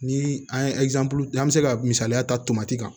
Ni an ye an bɛ se ka misaliya ta tomati kan